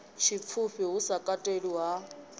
tshipfufhi hu sa katelwi ha